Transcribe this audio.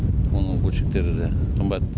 оның бөлшектері де қымбат